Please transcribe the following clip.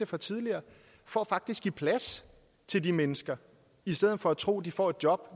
fra tidligere for faktisk at give plads til de mennesker i stedet for at tro at de får et job